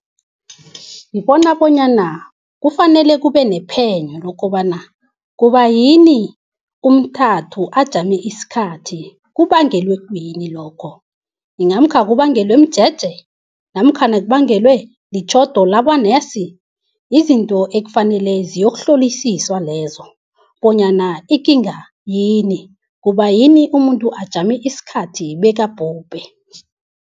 Ngibona bonyana kufanele kubenephenyo lokobana kubayini umntathu ajame isikhathi? Kubangelwe kuyini lokho? Inga namkha kubangelwe mjeje, namkha kubangelwe litjhodo labonesi? Yizinto ekufanele ziyokuhlolisiswa lezo, bonyana ikinga yini? Kubayini umuntu ajame isikhathi bekabhubhe?